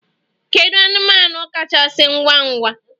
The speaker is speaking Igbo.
Kedu anụmanụ kachasị ngwa ngwa?